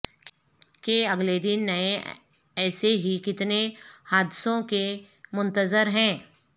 کہ اگلے دن نئے ایسے ہی کتنے حادثوں کے منتظر ہیں